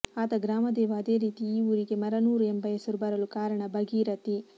ಆತ ಗ್ರಾಮದೇವ ಅದೇ ರೀತಿ ಈ ಊರಿಗೆ ಮರನೂರ ಎಂಬ ಹೆಸರು ಬರಲು ಕಾರಣ ಭಾಗೀರಥಿ